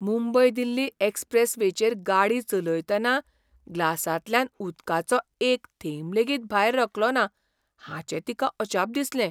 मुंबय दिल्ली एक्सप्रॅसवेचेर गाडी चलयतना ग्लासांतल्यान उदकाचो एक थेंब लेगीत भायर रकलोना हाचें तिका अजाप दिसलें.